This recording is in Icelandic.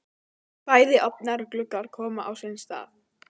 Bæði ofnar og gluggar komnir á sinn stað.